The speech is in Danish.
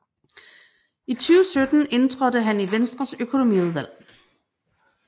I 2017 indtrådte han i Venstres Økonomiudvalg